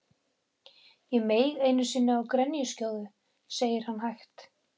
Ég meig einu sinni á grenjuskjóðu, segir hann hægt.